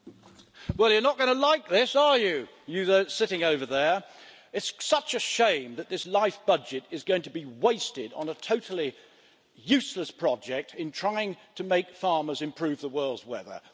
Mr President, well you're not going to like this are you, you lot sitting over there? It is such a shame that this LIFE budget is going to be wasted on a totally useless project trying to make farmers improve the world's weather.